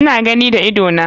Ina gani da idona.